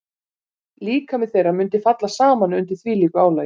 Líkami þeirra mundi falla saman undir þvílíku álagi.